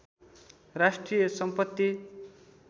राष्ट्रिय सम्पत्ति